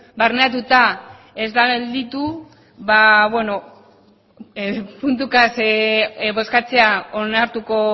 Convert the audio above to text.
barneratuta ez den gelditu puntuka bozkatzea onartuko